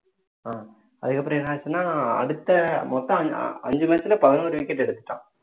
ஆஹ் அதுக்கு அப்புறம் என்ன ஆச்சுன்னா அடுத்த மொத்தம் அஞ்சு match ல பதினோரு wicket எடுத்துட்டான்